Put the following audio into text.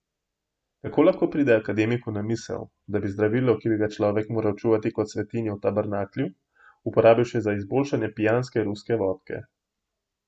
Kako lahko pride akademiku na misel, da bi zdravilo, ki bi ga človek moral čuvati kot svetinjo v tabernaklju, uporabil še za izboljšanje pijanske ruske vodke.